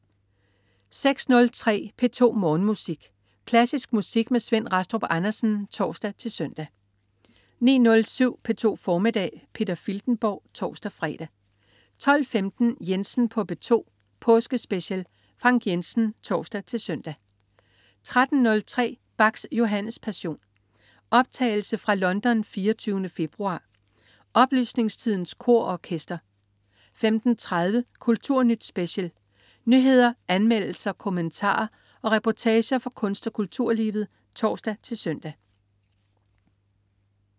06.03 P2 Morgenmusik. Klassisk musik med Svend Rastrup Andersen (tors-søn) 09.07 P2 formiddag. Peter Filtenborg (tors-fre) 12.15 Jensen på P2. Påskespecial. Frank Jensen (tors-søn) 13.03 Bachs Johannes Passion. Optagelse fra Londen 24. februar. Oplysningstidens Kor og Orkester 15.30 Kulturnyt Special. Nyheder, anmeldelser, kommentarer og reportager fra kunst- og kulturlivet (tors-søn)